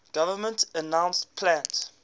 government announced plans